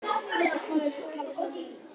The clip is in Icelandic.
Geta hvalir talað saman?